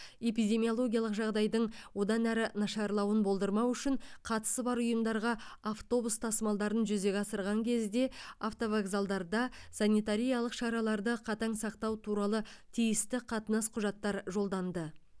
эпидемиологиялық жағдайдың одан әрі нашарлауын болдырмау үшін қатысы бар ұйымдарға автобус тасымалдарын жүзеге асырған кезде автовокзалдарда санитариялық шараларды қатаң сақтау туралы тиісті қатынас құжаттар жолданды